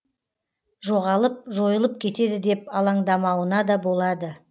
жоғалып жойылып кетеді деп алаңдамауына да болады